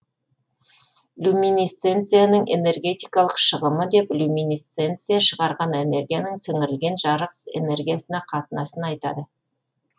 люминесценцияның энергетикалық шығымы деп люминесценция шығарған энергияның сіңірілген жарық энергиясына қатынасын айтады